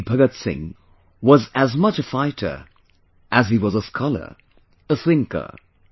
Shaheed Bhagat Singh was as much a fighter as he was a scholar, a thinker